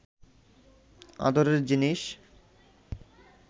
আদরের জিনিষ